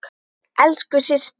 Elsku Systa.